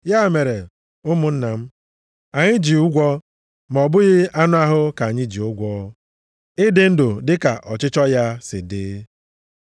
Ya mere, ụmụnna m, anyị ji ụgwọ ma ọ bụghị anụ ahụ ka anyị ji ụgwọ ịdị ndụ dịka ọchịchọ ya si dị.